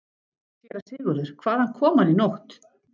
SÉRA SIGURÐUR: Hvaðan kom hann í nótt?